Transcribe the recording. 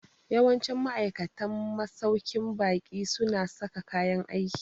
Yawancin ma'aikatan masauƙin baƙi su na sa kayan aiki